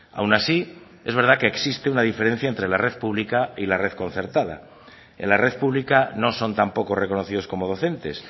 aun así es verdad que existe una diferencia entre la red pública y la red concertada en la red pública no son tampoco reconocidos como docentes